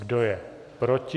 Kdo je proti?